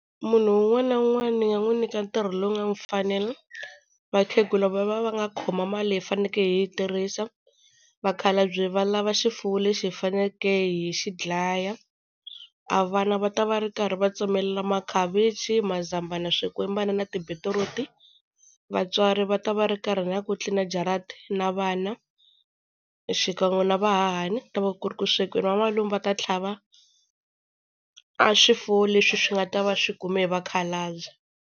Munhu un'wana na un'wana ni nga n'wi nyika ntirho lowu nga n'wi fanela. Vakhegula va va va nga khoma mali leyi hi fanele hi yi tirhisa. Vakhalabya va lava xifuwo lexi hi faneleke hi xi dlaya. A vana va ta va ri karhi va tsemelela makhavichi, mazambana, swikwembana na tibetiruti. Vatswari va ta va ri karhi na ku tlilina jarata na vana, xikan'we na vahahani ku ta va ku ri ku swekiweni. Vamalume va ta tlhava a swifuwo leswi swi nga ta va swi kume hi vakhalabya.